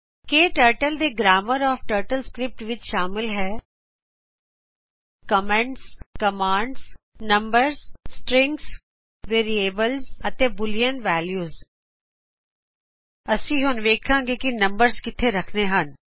ਕੇ turtle ਦੇ grammar of TurtleScript ਵਿੱਚ ਸ਼ਾਮਿਲ ਹੈਂ comments commands numbers strings variables ਅਤੇ ਬੂਲਿਅਨ ਵੈਲਿਉ ਅਸੀਂ ਹੁਣ ਵੇਖਾਗੇ ਕਿ ਨੰਬਰਸ ਕਿੱਥੇ ਰਖੱਣੇ ਹਨ